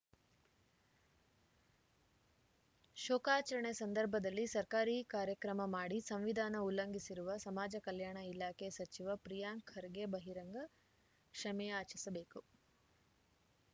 ಶೋಕಾಚರಣೆ ಸಂದರ್ಭದಲ್ಲಿ ಸರ್ಕಾರಿ ಕಾರ್ಯಕ್ರಮ ಮಾಡಿ ಸಂವಿಧಾನ ಉಲ್ಲಂಘಿಸಿರುವ ಸಮಾಜ ಕಲ್ಯಾಣ ಇಲಾಖೆ ಸಚಿವ ಪ್ರಿಯಾಂಕ್‌ ಖರ್ಗೆ ಬಹಿರಂಗ ಕ್ಷಮೆಯಾಚಿಸಬೇಕು